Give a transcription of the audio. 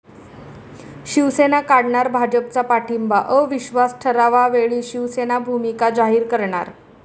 शिवसेना काढणार भाजपचा पाठिंबा? अविश्वास ठरावावेळी शिवसेना भूमिका करणार जाहीर